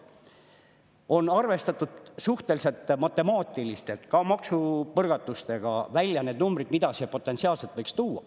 Matemaatiliselt on arvestatud suhteliselt maksupõrgatustega välja ka need numbrid, mida see potentsiaalselt võiks tuua.